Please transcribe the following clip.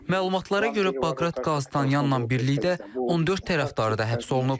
Məlumatlara görə Baqrat Qalstanyanla birlikdə 14 tərəfdarı da həbs olunub.